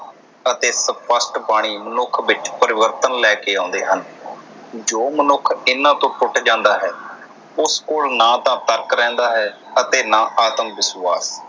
ਅਤੇ ਸਪਸ਼ਟ ਬਾਣੀ ਮਨੁੱਖ ਵਿਚ ਪਰਿਵਰਤਨ ਲੈ ਕੇ ਆਉਂਦੇ ਹਨ। ਜੋ ਮਨੁੱਖ ਇਨ੍ਹਾਂ ਤੋਂ ਟੁੱਟ ਜਾਂਦਾ ਹੈ ਉਸ ਕੋਲ ਨਾ ਤਾ ਤਰਕ ਰਹਿੰਦਾ ਹੈ ਅਤੇ ਨਾ ਆਤਮ ਵਿਸ਼ਵਾਸ